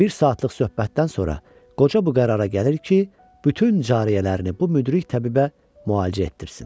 Bir saatlıq söhbətdən sonra qoca bu qərara gəlir ki, bütün cariələrini bu müdrik təbibə müalicə etdirsin.